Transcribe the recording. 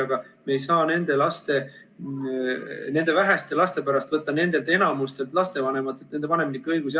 Aga me ei saa nende väheste laste pärast võtta enamikult lapsevanematelt ära nende vanemlikke õigusi.